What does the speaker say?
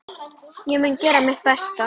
Ég mun gera mitt besta.